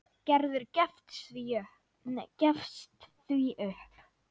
Gerður gefst því upp.